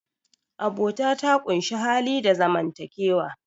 abota ta ƙunshi hali da zaman takewa